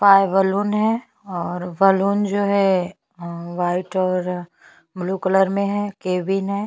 काफी अच्छा अअअ चेयर वगेरा रखा हुआ है और गुलदस्ता रखा है।